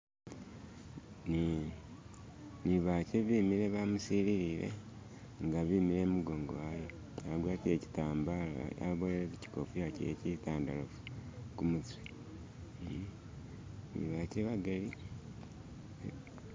Ni ni bache bimile bamusililile nga bimile imugongo wawe agwatile chitambala aboyele kuchikofila kyewe chitandalafu kumutwe eehe ni bache bagali